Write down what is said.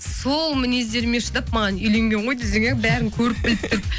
сол мінездеріме шыдап маған үйленген ғой десең иә бәрін көріп біліп тұрып